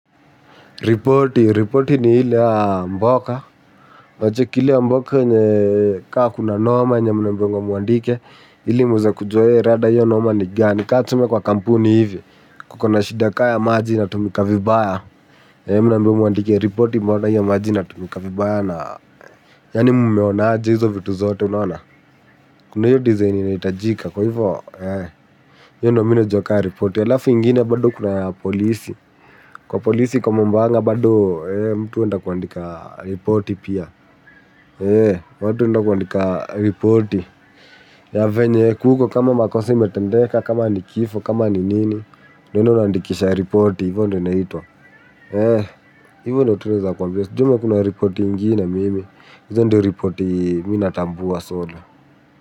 Ripoti. Ripoti ni ile ya mboka. Unacheki ile ya mboka yenye ka kuna noma yenye mnaambiwangwa mwandike ili mweze kujua eeeh rada hio noma ni gani ka tuseme kwa kampuni hivi kuko na shida ka ya maji inatumika vibaya mnaambiwa mwandike ripoti mbona hio maji inatumika vibaya na yani mumeonaje hizo vitu zote kuna hio design inahitajika. Hio ndo mimi najua ka ripoti alafu ingine bado kuna ya polisi kwa polisi kwa mambang'a bado mtu huenda kuandika ripoti pia watu huenda kuandika ripoti ya venye kuko kama makosa imetendeka kama nikifo kama ni nini unaenda unaandikisha ripoti hivyo ndo inaitwa hivyo ndo tu naeza kwambia sijui kama kuna ripoti ingine mimi hizo ndo ripoti mimi natambua solo.